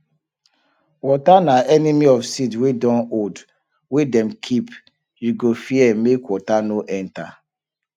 water na enemy of seed wey dun old wey dem keep you go fear make water no enter